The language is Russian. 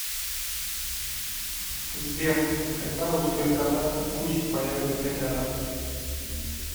сбер когда у сберкота и куси появятся котята